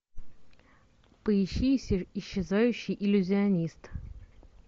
поищи исчезающий иллюзионист